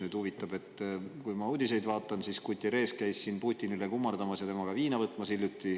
Kui ma uudiseid vaatasin, siis Guterres käis hiljuti Putinit kummardamas ja temaga viina võtmas.